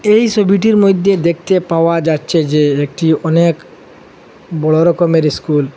এই সবিটির মইধ্যে দেখতে পাওয়া যাচ্ছে যে একটি অনেক বড়ো রকমের স্কুল ।